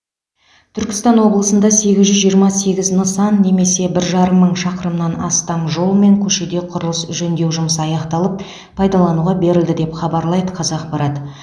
түркістан облысында сегіз жүз жиырма сегіз нысан немесе бір жарым мың шақырымнан астам жол мен көшеде құрылыс жөндеу жұмысы аяқталып пайдалануға берілді деп хабарлайды қазақпарат